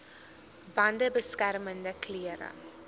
bande beskermende klere